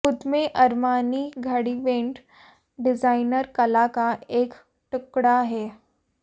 खुद में अरमानी घड़ीबैंड डिजाइनर कला का एक टुकड़ा है